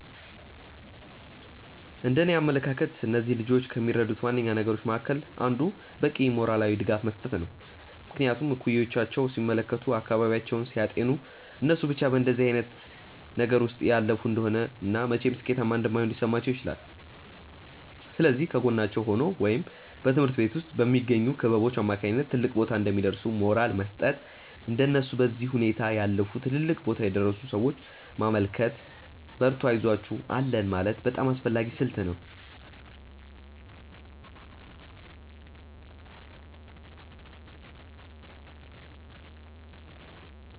እንደእኔ አመለካከት እነዚህን ልጆች ከሚረዱት ዋነኛ ነገሮች መካከል አንዱ በቂ ሞራላዊ ድጋፍ መስጠት ነው። ምክንያቱም እኩዮቻቸውን ሲመለከቱ፤ አካባቢያቸውን ሲያጤኑ እነሱ ብቻ በእንደዚህ አይነት ነገር ውስጥ እያለፉ እንደሆነ እና መቼም ሥኬታማ እንደማይሆኑ ሊሰማቸው ይችላል። ስለዚህ ከጎናቸው ሆኖ ወይም በትምሀርት ቤት ውስጥ በሚገኙ ክበቦች አማካኝነት ትልቅ ቦታ እንደሚደርሱ ሞራል መስጠት፤ እንደነሱ በዚህ ሁኔታ ያለፉ ትልልቅ ቦታ የደረሱን ሰዎች ማመልከት፤ በርቱ አይዞአችሁ አለን ማለት በጣም አስፈላጊ ስልት ነው።